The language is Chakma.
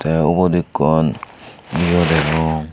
tey ubot ekkan he agey duon.